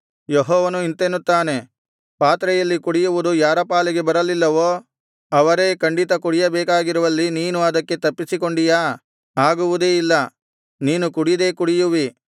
ಯೆಹೋವನು ಇಂತೆನ್ನುತ್ತಾನೆ ಪಾತ್ರೆಯಲ್ಲಿ ಕುಡಿಯುವುದು ಯಾರ ಪಾಲಿಗೆ ಬರಲಿಲ್ಲವೋ ಅವರೇ ಖಂಡಿತ ಕುಡಿಯಬೇಕಾಗಿರುವಲ್ಲಿ ನೀನು ಅದಕ್ಕೆ ತಪ್ಪಿಸಿಕೊಂಡೀಯಾ ಆಗುವುದೇ ಇಲ್ಲ ನೀನು ಕುಡಿದೇ ಕುಡಿಯುವಿ